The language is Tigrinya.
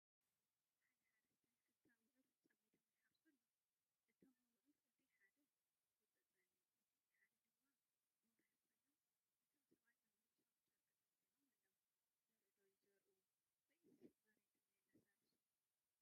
ሓደ ሓረስታይ ክልተ ኣቡዑር ፀሚዶም ይሓርሱ ኣለው፡፡ እቶም ኣቡዑር እቲ ሓደ ውፁእ ፀሊም፣ እቲ ሓደ ድማ ቦራይ ኮይኖም እቶም ሰብኣይ ኣብ ርእሶም ጨርቂ ጠምጢሞም ኣለው፡፡ ዘርኢ ዶ ይዘርኡ ይህልውስ መሬቶም የላሳልሱ?